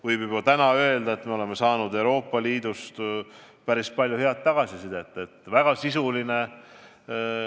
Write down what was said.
Võib juba täna öelda, et me oleme saanud Euroopa Liidust päris palju head tagasisidet, et dokument on väga sisuline.